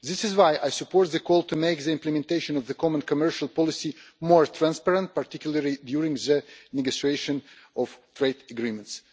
This is why I support the call to make the implementation of the common commercial policy more transparent, particularly during the negotiation of trade agreements.